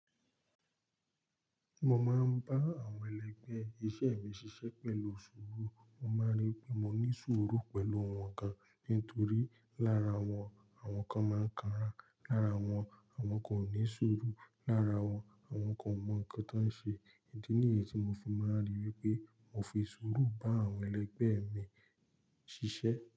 Mo máa ń bá àwọn ẹlẹgbẹ́ iṣẹ́ mi ṣiṣẹ́ pẹ̀lú sùúrù. Mo máa rí pé mo ní sùúrù pẹ̀lú wọn kan nítorí lára wọn, àwọn kan máa ń kanra, lára wọn, àwọn kò ní sùúrù, lára wọn, àwọn kò mọ nǹkan tí wọ́n ń ṣe. Ní èyí tí mo fò, mo máa rí wípé mo fi sùúrù bá àwọn ẹlẹgbẹ́ mi ṣiṣẹ́.